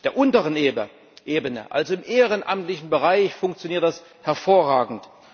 Auf der unteren Ebene, also im ehrenamtlichen Bereich, funktioniert das hervorragend.